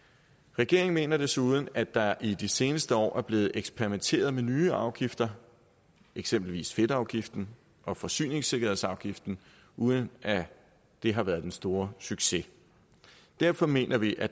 regeringen mener desuden at der i de seneste år er blevet eksperimenteret med nye afgifter eksempelvis fedtafgiften og forsyningssikkerhedsafgiften uden at det har været den store succes derfor mener vi at